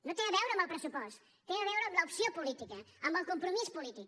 no té a veure amb el pressupost té a veure amb l’opció política amb el compromís polític